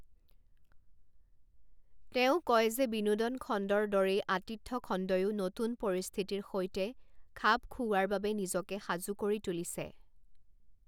তেওঁ কয় যে বিনোদন খণ্ডৰ দৰেই আতিথ্য খণ্ডয়ো নতুন পৰিস্থিতিৰ সৈতে খাপ খুউৱাৰ বাবে নিজকে সাজু কৰি তুলিছে।